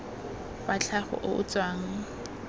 wa tlhago o o tswang